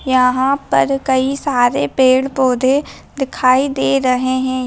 यहां पर कई सारे पेड़-पौधे दिखाई दे रहे हैं।